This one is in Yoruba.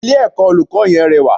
Ilé ẹ̀kọ́ olùkọ́ yẹn rẹwà